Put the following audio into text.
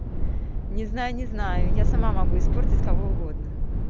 не знаю не знаю я сама могу испортить кого угодно